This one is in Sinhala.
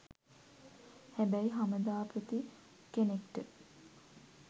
හැබැයි හමදාපති කෙනෙක්ට